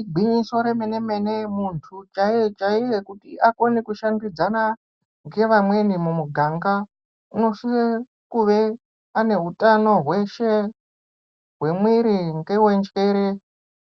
Igwinyiso remene mene muntu chaiye chaiye kuti akone kushandidzana nevamweni mumuganga unosise kunge ane utano hweshe hwemwiri newenjere